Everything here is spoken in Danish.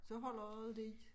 Så holder også lidt